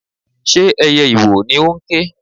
Ṣé ẹyẹ ìwò ni ó ń ké?